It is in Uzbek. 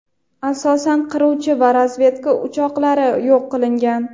asosan qiruvchi va razvedka uchoqlari yo‘q qilingan.